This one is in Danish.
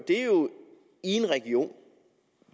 en region